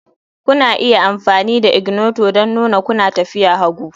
Kuna iya amfani da ignitor don nuna kuna tafiya hagu